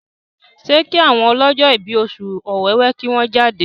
ṣe ki àwọn ọlọjọ ibí Oṣù Ọ̀wẹwẹ kí wón jáde?